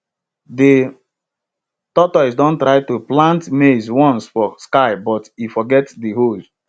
de tortoise don try to plant maize once for sky but e forget de hoe